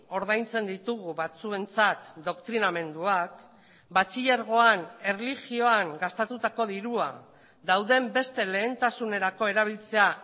ordaintzen ditugu batzuentzat doktrinamenduak batxilergoan erlijioan gastatutako dirua dauden beste lehentasunerako erabiltzea